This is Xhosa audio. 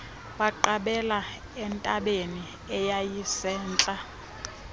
baqabela entabeni eyayisentla